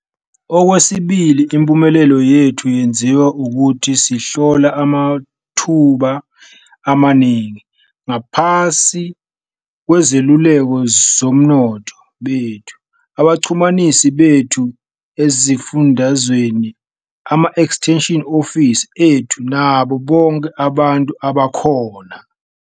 Okwesibili impumelelo yethu yenziwa ukuthi sihlola amathuba amaningi, ngaphansi kwezeluleko zosomnotho bethu, abaxhumanisi bethu esifundazweni, ama-extension officers ethu nabo bonke abantu abakhona.